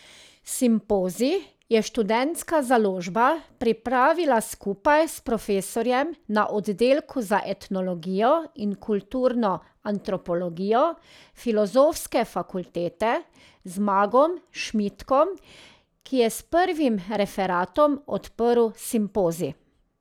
Simpozij je Študentska založba pripravila skupaj s profesorjem na oddelku za etnologijo in kulturno antropologijo Filozofske fakultete Zmagom Šmitkom, ki je s prvim referatom odprl simpozij.